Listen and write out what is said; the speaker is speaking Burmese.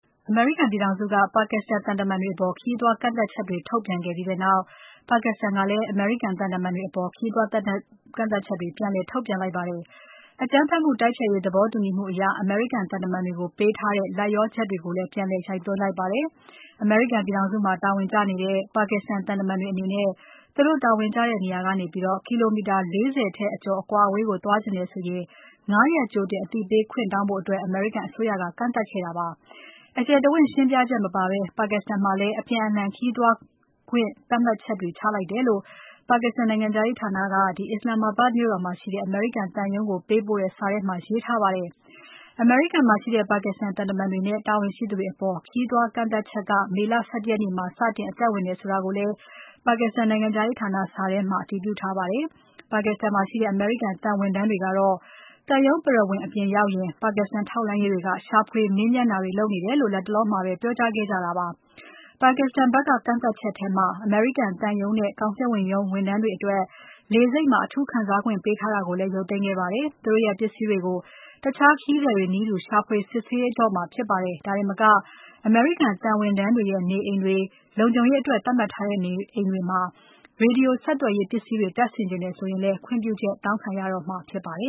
အမေရိကန်ပြည်ထောင်စုက Pakistan သံတမန်တွေအပေါ် ခရီးသွားကန့်သတ်ချက်တွေ ထုတ်ပြန်ခဲ့ပြီးနောက် Pakistan ကလည်း အမေရိကန် သံတမန်တွေအပေါ် ခရီးသွားကန့်သတ်ချက် ပြန်လည်ထုတ်ပြန်ခဲ့ပါတယ်။ အကြမ်းဖက်မှုတိုက်ဖျက်ရေးသဘောတူညီမှုအရ အမေရိကန်သံတမန်တွေကို ပေးထားတဲ့ လိုက်လျောချက်တွေကိုလည်း ပြန်လည်ရုတ်သိမ်းလိုက်ပါတယ်။ အမေရိကန်ပြည်ထောင်စုမှာ တာဝန်ကျနေတဲ့ Pakistan သံတမန်တွေ အနေနဲ့ သူတို့တာဝန်ကျတဲ့နေရာကနေ ကီလိုမီတာ ၄၀ ထက်အကျော်အကွာအဝေးကို သွားချငတယ်ဆိုရင် ၅ ရက်ကြိုတင် အသိပေးခွင့်တောင်းဖို့ အမေရိကန်အစိုးရက ကန့်သတ်ခဲ့တာပါ။ အကျယ်တဝင့် ရှင်းပြချက်မပါဘဲ Pakistan မှာလည်း အပြန်အလှန် ခရီးသွားခွင့်သတ်မှတ်ချက် ချမှတ်တယ်လို့Pakistan နိုင်ငံခြားရေးဌာနက Islamabad မှာရှိတဲ့ အမေရိကန်သံရုံးကို ပေးပို့တဲ့ စာထဲမှာ ရေးသားထားပါတယ်။ အမေရိကန်မှာရှိတဲ့ Pakistan သံတမန်တွေနဲ့ တာဝန်ရှိသူတွေအပေါ် ခရီးသွားကန့်သတ်ချက်က မေလ ၁၁ ရက်နေ့မှာ စတင် အသက်ဝင်တယ်ဆိုတာကိုလည်းPakistan နိုင်ငံခြားရေးဌာန စာထဲမှာ အတည်ပြုထားပါတယ်။ Pakistan မှာရှိတဲ့ အမေရိကန်သံဝန်ထမ်းတွေကတော့ သံရုံးပရဝဏ်အပြင်ရောက်ရင် Pakistan ထောက်လှမ်းရေးတွေက ရှာဖွေ မေးမြန်းတာတွေ လုပ်နေတယ်လို့ လတ်တလောမှာပဲ ပြောကြားခဲ့ကြပါတယ်။Pakistan ဖက်က ကန့်သတ်ချက်ထဲမှာ အမေရိကန်သံရုံးနဲ့ ကောင်စစ်ဝန်ရုံးဝန်ထမ်းတွေအတွက် လေဆိပ်မှာ အထူးခံစားခွင့်ပေးထားတာကိုလည်း ရုတ်သိမ်းခဲ့ပါတယ်။ သူတို့ရဲ့ ပစ္စည်းတွေကို တခြားခရီးသည်တွေနည်းတူ ရှာဖွေစစ်ဆေးမှာဖြစ်ပါတယ်။ ဒါတင်မက အမေရိကန်သံဝန်ထမ်းတွေရဲ့ နေအိမ်တွေ လုံခြုံရေးအတွက်သတ်မှတ်ထားတဲ့ အိမ်တွေမှာ Radio ဆက်သွယ်ရေးပစ္စည်းတွေ တပ်ဆင်ချင်တယ်ဆိုရင်လည်း ခွင့်ပြုချက် တောင်းခံရတော့မှာ ဖြစ်ပါတယ